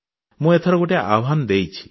ମୁଁ ଏଥର ଗୋଟିଏ ଆହ୍ୱାନ ଦେଇଛି